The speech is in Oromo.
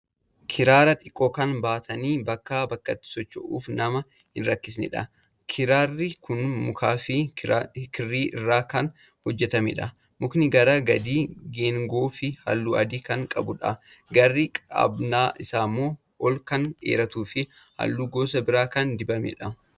Kiraara xiqqoo kan baatanii bakkaa bakkatti socho'uuf nama hin rakkisnedha. Kiraarri kun mukaafi kirrii irraa kan hojjatamedha. Mukni gara gadii geengoofi halluu adii kan qabudha. Garri qabannaa isaa ol kan dheeratuufi halluu gosa biraa kan dibamedha.